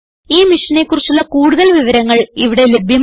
ഈ മിഷനെ കുറിച്ചുള്ള കുടുതൽ വിവരങ്ങൾ ഇവിടെ ലഭ്യമാണ്